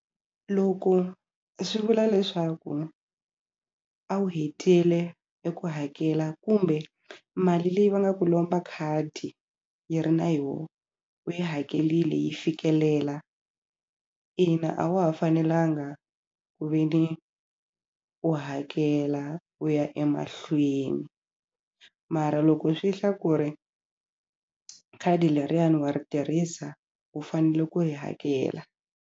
Loko swi vula leswaku a wu hetile eku hakela kumbe mali leyi va nga ku lomba khadi yi ri na yoho u yi hakelile yi fikelela ina a wa ha fanelanga ku ve ni u hakela u ya emahlweni mara loko swi hla ku ri khadi leriyani wa ri tirhisa u fanele ku yi hakela.